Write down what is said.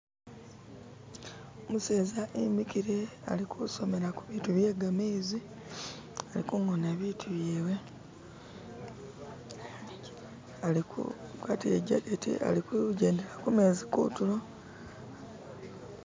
Umuseza emikile ali kusomela ku bitu bye gamezi, ali kungona bitu byewe ali kugwata ijaketi ali kujendela kumezi kutulo.